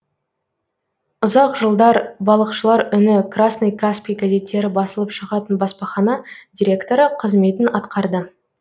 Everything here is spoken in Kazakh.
ұзақ жылдар балықшылар үні красный каспий газеттері басылып шығатын баспахана директоры қызметін атқарды